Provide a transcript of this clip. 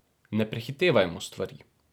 Ne prehitevajmo stvari.